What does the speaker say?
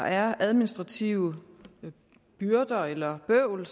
er administrative byrder eller bøvl